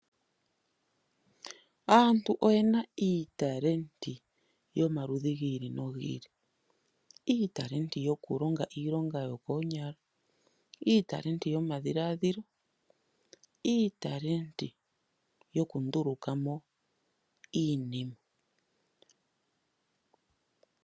Aantu oyena iitalenti yomaludhi gi ili nogi ili. Iitalenti yokulonga iilonga yokoonyala, iitalenti yomadhiladhilo niitalenti yokunduluka po iinima.